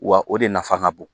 Wa o de nafa ka bon